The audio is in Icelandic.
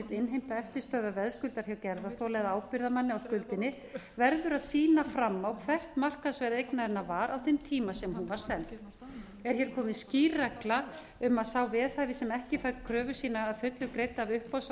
innheimta eftirstöðvar veðskuldar hjá gerðarþola eða ábyrgðarmanni á skuldinni verður að sýna fram á hvert markaðsverð eignarinnar var á þeim tíma sem hún var seld er hér komin skýr regla um að sá veðhafi sem ekki færi kröfu sína að fullu greidda af